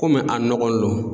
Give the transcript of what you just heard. Kɔmi a nɔgɔ n lon.